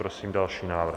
Prosím další návrh.